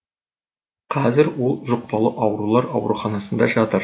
қазір ол жұқпалы аурулар ауруханасында жатыр